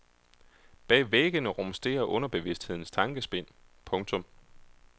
Bag væggene rumsterer underbevidsthedens tankespind. punktum